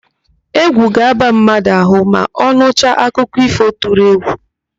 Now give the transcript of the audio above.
Égwù ga-aba mmadụ ahụ ma ọ nụcha akụkọ ífò tụrụ égwù.